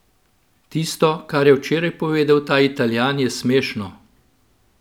Tisto, kar je včeraj povedal ta Italijan, je smešno.